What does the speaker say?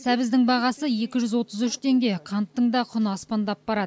сәбіздің бағасы екі жүз отыз үш теңге қанттың да құны аспандап барады